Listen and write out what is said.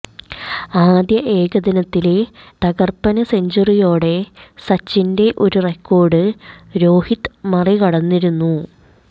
ആദ്യ ഏകദിനത്തിലെ തകര്പ്പന് സെഞ്ചുറിയോടെ സച്ചിന്റെ ഒരു റെക്കോര്ഡ് രോഹിത് മറികടന്നിരുന്നു